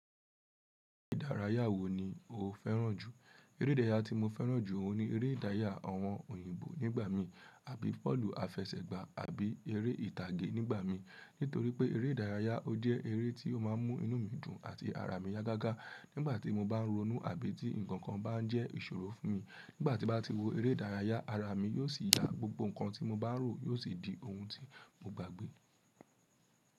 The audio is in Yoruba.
Eré ìdárayá wo ni o fẹ́ràn jù? Eré ìdárayá tí mo fẹ́ràn jù ni eré ìdárayá àwọn òyìnbó nígbà mí àbí pọ́lù àfẹsẹ̀gbá àbí eré ìtàgé nígbà mi. Nítorí pé eré ìdárayá ọ dẹ eré tí ó máa ń mú inú mi dùn àti ara mi yá gágá nígbà tí mo bá ń ronú àbí tí nǹkan kan bá ń jẹ́ ìṣòro fún mi. Nígbà tí bá ti wo eré ìdárayá ara mi yóò sì yá, gbogbo nǹkan tí mo bá rò yóò sì di ohun tí mo gbàgbé.